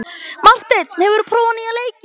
Marteinn, hefur þú prófað nýja leikinn?